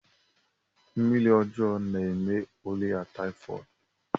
Mmiri ọjọọ na-eme ọrịa taifọd.